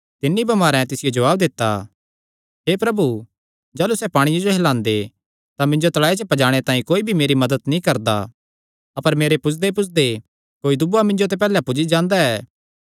तिन्नी बमारें तिसियो जवाब दित्ता हे प्रभु जाह़लू सैह़ पांणिये जो हिलांदे तां मिन्जो तल़ाऐ च पजाणे तांई कोई भी मेरी मदत नीं करदा अपर मेरे पुज्जदेपुज्जदे कोई दूआ मिन्जो ते पैहल्ले पुज्जी जांदा ऐ